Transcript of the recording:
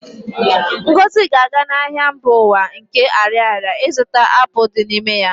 Ngozi ga-aga n'ahịa mba ụwa nke Ariaria ịzụta apụl dị n'ime ya